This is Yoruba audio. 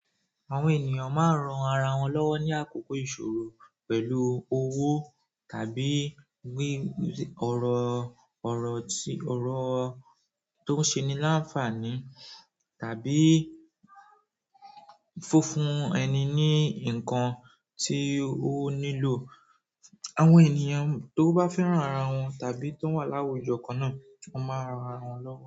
Àwọn ènìyàn máa ń ran ara wọn lọ́wọ́ ní àkókò ìṣòro pẹ̀lú owó tàbí wí ọ̀rọ̀ ọ̀rọ̀ tí ọ̀rọ̀ tó ń ṣe ní láǹfààní tàbí fúnfún ẹni ní nǹkan tí ó nílò. Àwọn ènìyàn tó bá fẹ́ràn ara wọn tàbí tó wà láwùjọ kan náà, wọ́n máa ran ara wọn lọ́wọ́